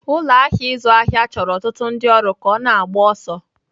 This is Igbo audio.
Ụlọ ahịa ịzụ ahịa chọrọ ọtụtụ ndị ọrụ ka ọ na-agba ọsọ.